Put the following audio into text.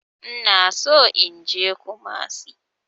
Ina so in je kumasi.